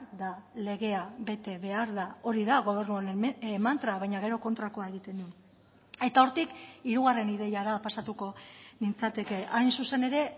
da legea bete behar da hori da gobernu honen mantra baina gero kontrakoa egiten du eta hortik hirugarren ideiara pasatuko nintzateke hain zuzen ere